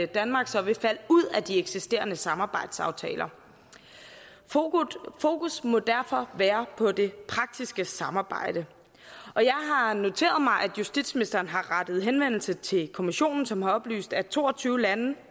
danmark så vil falde ud af de eksisterende samarbejdsaftaler fokus må derfor være på det praktiske samarbejde og jeg har noteret mig at justitsministeren har rettet henvendelse til kommissionen som har oplyst at to og tyve lande